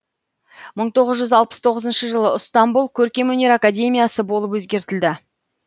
мың тоғызжүз алпыс тоғызыншы жылы ыстамбұл көркемөнер академиясы болып өзгертілді